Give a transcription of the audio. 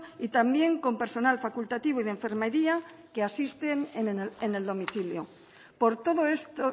y también con personal facultativo y de enfermería que asisten en el domicilio por todo esto